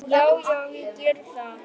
Já, já, ég geri það.